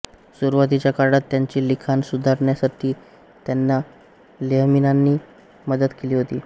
सुरुवातीच्या काळात त्यांचे लिखाण सुधारण्यातही त्यांना तेहमिनांनी मदत केली होती